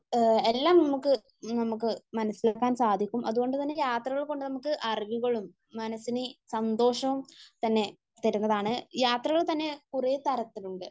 എല്ലാം നമ്മക്ക് മനസ്സിലാക്കാൻ സാധിക്കും അതുകൊണ്ട് തന്നെ യാത്രകൾ കൊണ്ട് നമ്മക്ക് അറിവുകളും മനസ്സിന് സന്തോഷവും തന്നെ തരുന്നതാണ് . യാത്രകൾ തന്നെ കുറെ തരത്തിലുണ്ട്